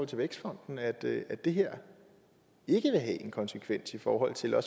til vækstfonden at det det her ikke vil have en konsekvens i forhold til at